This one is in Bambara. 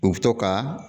U bɛ to ka